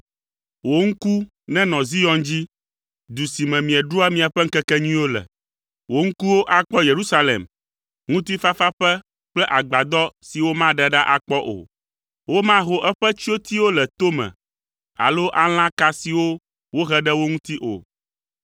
Wò ŋku nenɔ Zion dzi. Du si me mieɖua miaƒe ŋkekenyuiwo le; wò ŋkuwo akpɔ Yerusalem, ŋutifafaƒe kple agbadɔ si womaɖe ɖa akpɔ o. Womaho eƒe tsyotiwo le tome alo alã ka siwo wohe ɖe wo ŋuti o.